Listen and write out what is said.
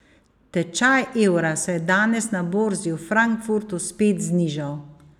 Tečaj evra se je danes na borzi v Frankfurtu spet znižal.